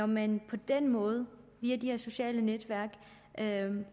man på den måde via de her sociale netværk